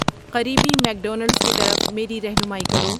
قریبی مکدونلڈس کی طرف میری رہنمائی کرو